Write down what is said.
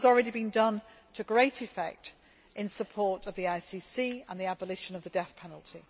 This has already been done to great effect in support of the ICC and the abolition of the death penalty.